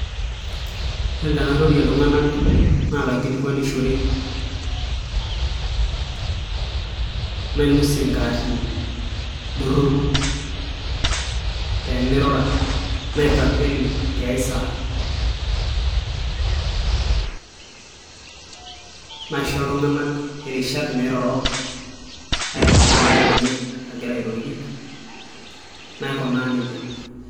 Yiolo tenairorie iltung'anak naa kaikilikwanishore nainosie inkaatini doropu peemeirura naitakweni tiasaa naisho iltung'anak irishat meiroro aitau induat enye agira airorie naikunaa nejia.